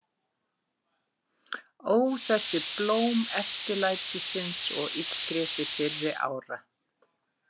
Ó, þessi blóm eftirlætisins og illgresi fyrri ára.